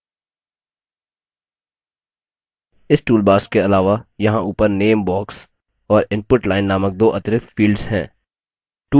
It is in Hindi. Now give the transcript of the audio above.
इस toolbars के अलावा यहाँ ऊपर name box और input line name दो अतिरिक्त fields हैं